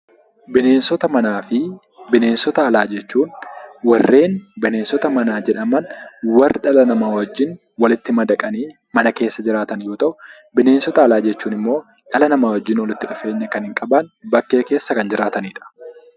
Bineensota manaa fi bineensota alaa jechuun, warreen bineensota manaa jedhaman warra dhala namaa wajjin walitti madaqanii mana keessa jiraatan yoo ta'u, bineensota alaa jechuun immoo dhala namaa wajjin walitti dhufeenya kan hin qabaanne bakkee keessa kan jiraatanii dha.